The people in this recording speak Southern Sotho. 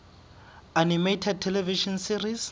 animated television series